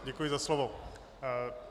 Děkuji za slovo.